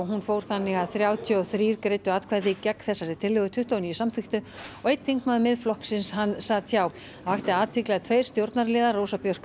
hún fór þannig að þrjátíu og þrír greiddu atkvæði gegn þessari tillögu tuttugu og níu samþykktu og einn þingmaður Miðflokksins sat hjá það vakti athygli að tveir stjórnarliðar Rósa Björk